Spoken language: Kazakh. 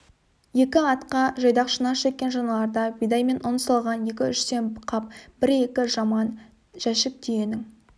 екі атқа жайдақ шана жеккен шаналарда бидай мен ұн салған екі-үштен қап бір-екі жаман жәшік түйенің